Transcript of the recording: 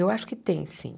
Eu acho que tem, sim.